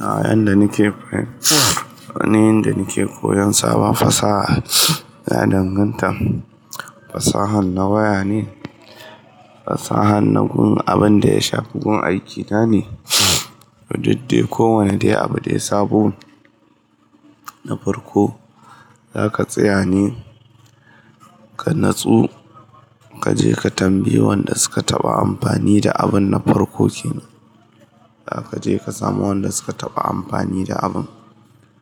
Yanda nike koyan sabon fasaha, ya danganta. Fasaha na waya ne, fasaha na abin da ya shafi gun aiki na ne? Duk dai ko wane dai abu dai sabo, na farko zaka tsaya ne ka natsu kaje ka tambayi wanda suka taɓa amfani da abun na farko kenan. Kaje ka samu wanda suka taɓa amfani da abun,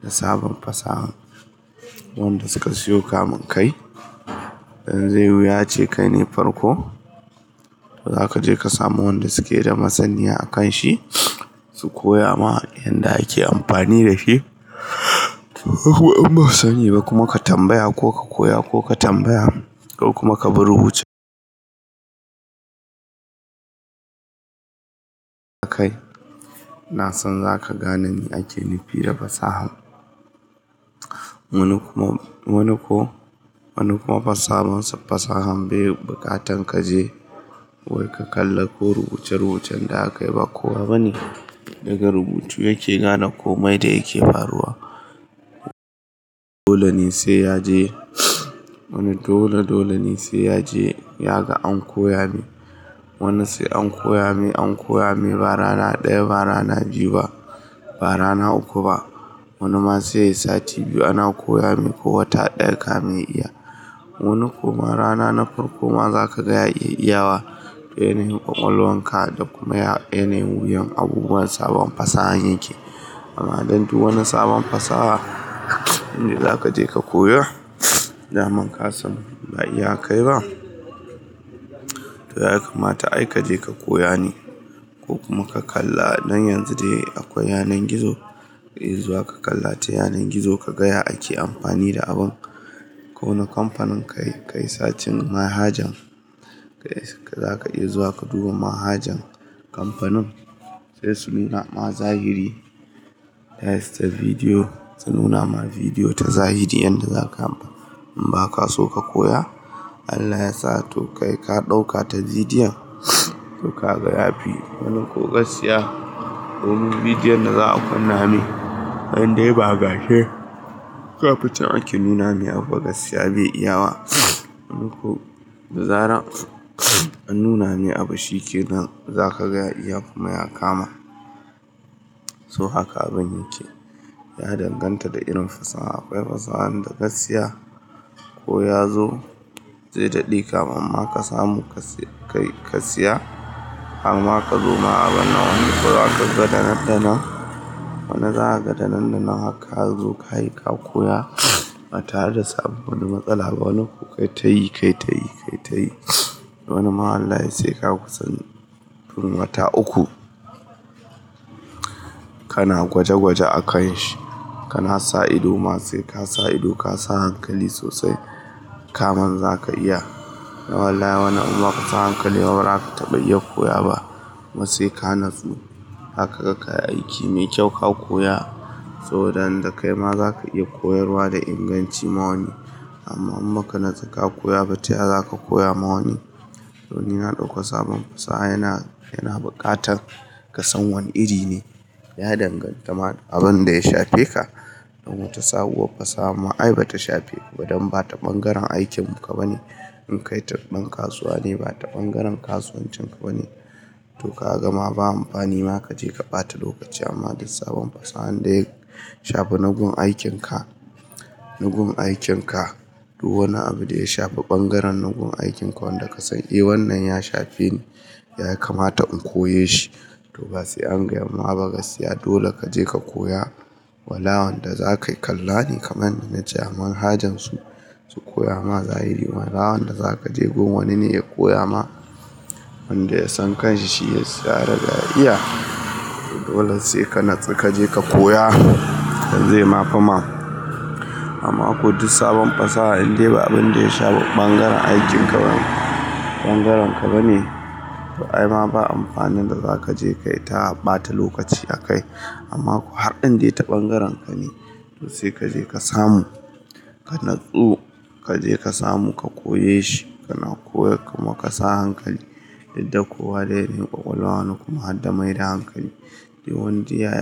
da sabon fasahan. Wanda suka siyo kamin kai, in zai wuya ce kai ne farko, to zaka je ka samu wanda suke da masaniya akan shi, su koya maka yanda yake amfani da shi. Kuma ka tambaya ko ka koya ko ka tambaya kuma ka bi rubuce. Kai, na san zaka gane me ake nufi da fasaha. Wani kuma fasahan bai buƙatan kaje wai ka kalla ko rubuce rubucin da a kai ba. Ko abane daga rubutu yake gane komai da yake faruwa. Dole ne sai ya je. Wani dole, dole ne sai ya je ya ga an koya mai. Wani sai an koya mai, an koya mai ba rana ɗaya ba rana biyu ba rana uku ba. Wani ma sai sati biyu ana koya masa ko wata ɗaya kamin ya iya. Wani kuma rana na farko ma zaka gaya iya iyawa. Da yanayin ƙwaƙwalwan ka da kuma menene wuyan abubuwan sabon fasahan yake. Amma dan duk wani sabon fasaha, inda zaka je ka koya, zaman kasamu ba iya kai ba, to ya kamata ai kaje ka koya ne ko kuma ka kalla. Don yanzu dai akwai yanar gizo, iya zuwa ka kalla ta yanar gizo ka gaya ake amfani da abun. Ko wani kamfanin ka yi sacin manhajan, zaka iya zuwa ka duba manhajan kamfanin sai su nuna ma zahiri. Ta yasta bidiyo su nuna ma bidiyo ta zahiri yanda zaka. In ba ka so ka koya, Allah ya sa to kai ka ɗauka ta bidiyon, suka gaya fi wani ko gaskiya domin bidiyon da za a kunna mai. Indai ba gashi, kaficin ake nuna masa ba gaskiya bai iya wa. Da zarar an nuna mai abin shike nan zaka gaya iya kuma ya kama. So haka abun yake. Ya danganta da irin fasaha. Akwai fasahan da gaskiya ko ya zo zai daɗe kamin ma ka samu ka siya hamma ka zo ma abin na wani gadanaddana. Wani zaka gadanaddana haka ka zo ka koya. Batare da samun wani matsala ba wani ku kai ta yi, kai ta yi, kai ta yi. Wani ma Allah ya sai ka san tun wata uku kana gwaje gwaje a kan shi. Kana sa ido masa sai ka sa ido ka sa hankali sosai kaman zaka iya. Wallahi wani imma baka sa hankali ba bazaka taɓa iya koya ba. Kumasai ka natsu haka ka kai aiki mai kyau ka koya. To tayanda kai ma zaka iya koyarwa da inganci ma wani. Amma in baka na tsu ka koya ba, taya zaka koya ma wani? To ni na ɗauka sabon fasaha yana, yana buƙatan ka san wani iri ne. Ya danganta ma abin da ya shafe ka. Wata sabuwa fasaha ma ai bata shafe ka. Dan bata bangaren aikin ka bane. In kai tarbar kasuwa ne bata bangaren kasuwancin ka bane. To ka gama ba amfani ma kaje ka bata lokaci. Amma da sabon fasaha wanda ya shafi nagun aikin ka, nagun aikin ka. Duk wani abu da ya shafi bangaren nagun aikin ka wanda ka san eh wannan ya shafi ni, ya kamata in koye shi. To ba sai an gayama ba gaskiya dole kaje ka koya. Wallahi wanda za ka yi kalla ne kaman na ce manhajan su, su koya ma zahiri. Bama wanda zaka je gun wani ne ya koya ma. Wanda ya san kan shi shi ya yarda iya. To dole sai ka natsu kaje ka koya. Dan zai mafi ma. Amma ko duk sabon fasaha indai ba abin da ya shafi bangaren aikin ka bane, bangaren ka bane, to ai ma ba amfanin da zaka je kai ta bata lokaci a kai. Amma ko har in dai ta bangaren ka ne, to sai kaje ka samu. Ka natsu kaje ka samu ka koye shi. Kana koya kuma ka sa hankali. Dan kowa da yanayin ƙwaƙwalwan ku ma har da mai da hankali. Wanda ya.